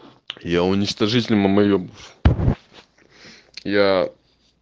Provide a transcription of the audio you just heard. я уничтожитель мамоебов я